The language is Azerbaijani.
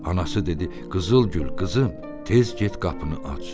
Anası dedi: Qızıl Gül, qızım, tez get qapını aç.